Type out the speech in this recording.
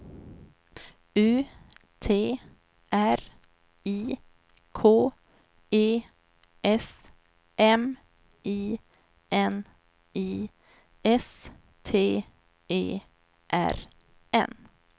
U T R I K E S M I N I S T E R N